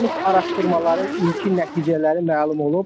Aparılmış araşdırmaların ilkin nəticələri məlum olub.